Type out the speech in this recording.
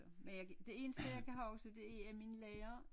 Men jeg kan det eneste jeg kan huske det er at min lærer